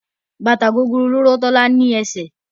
Bàtà gogoro ló rọ́ Tọ́lá ní eṣẹ́.